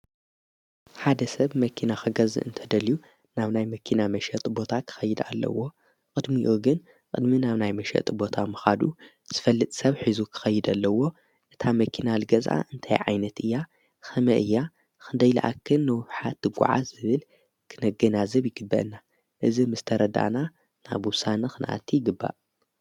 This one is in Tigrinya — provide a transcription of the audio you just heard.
ሓደ ሰብ መኪና ኸገዝእ እንተደልዩ ናብ ናይ መኪና መሽጢ ቦታ ክኸይዳ ኣለዎ። ቕድሚኡ ግን ቕድሚ ናብ ናይ መሽጢ ቦታ ምኻዱ ዝፈልጥ ሰብ ሒዙ ክኸይድ ኣለዎ፣ እታ መኪና ልገእዛ እንታይ ዓይነት እያ፣ ኸመይ እያ፣ ኽንደይ ዝኣክል ንውሓት ትጐዓ ዝብል ክነገናዝብ ይግበአና። እዝ ምስተረዳና ናብ ውሳና ኽንእቲ ይግባእ።